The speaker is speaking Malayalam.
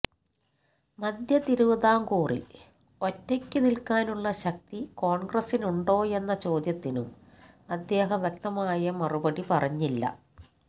മധ്യതിരുവിതാംകൂറില് ഒറ്റയ്ക്ക് നില്ക്കാനുള്ള ശക്തി കോണ്ഗ്രസിനുണ്ടോയെന്ന ചോദ്യത്തിനും അദ്ദേഹം വ്യകതമായ മറുപടി പറഞ്ഞില്ല